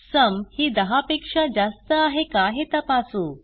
sum ही दहा पेक्षा जास्त आहे का हे तपासू